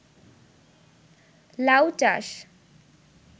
লাউ চাষ